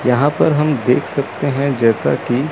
यहां पर हम देख सकते हैं जैसा की--